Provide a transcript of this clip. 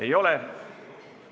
Ei ole.